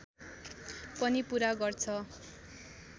पनि पूरा गर्छ